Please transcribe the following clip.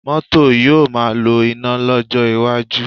Cars will be run on electric power in the future